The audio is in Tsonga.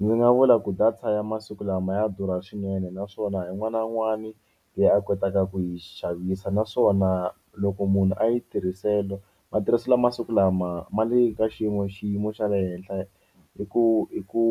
Ndzi nga vula ku data ya masiku lama ya durha swinene naswona un'wana na un'wani leyi a kotaka ku yi xavisa naswona loko munhu a yi tirhisela matirhiselo ya masiku lama ma le ka xiyimo xiyimo xa le henhla hi ku hi ku